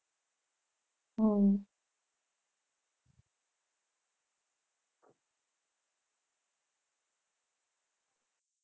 હમ